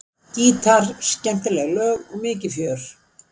Gítar, skemmtileg lög og mikið fjör.